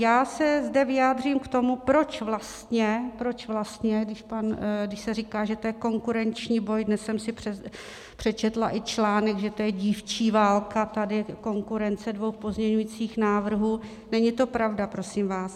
Já se zde vyjádřím k tomu, proč vlastně, když se říká, že to je konkurenční boj - dnes jsem si přečetla i článek, že to je dívčí válka, konkurence dvou pozměňovacích návrhů - není to pravda, prosím vás.